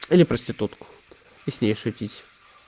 или проститутку и с ней шутить